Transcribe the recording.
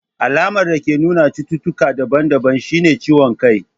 Alamar dake nuna cututtuka daban daban shine ciwon kai.